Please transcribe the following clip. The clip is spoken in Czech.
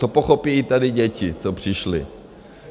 To pochopí i tady děti, co přišly.